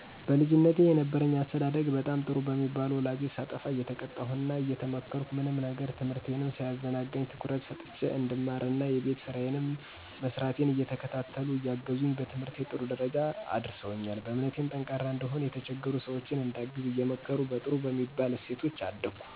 በልጅነቴ የነበረኝ አስተዳደግ በጣም ጥሩ በሚባሉ ወላጆች ሳጠፋ እየተቀጣሁ እና እየተመከርኩ፣ ምንም ነገር ትምህርቴንም ሳያዘናጋኝ ትኩረት ሰጥቸ እንድማር እና የቤት ስራየንም መስራቴን እየተከታተሉ እያገዙኝ በትምህርቴ ጥሩ ደረጃ አድርሰውኛል። በእምነቴም ጠንካራ እንድሆን፣ የተቸገሩ ሰወችን እንዳግዝ አየመከሩኝ በጥሩ በሚባል እሴቶች አደኩ።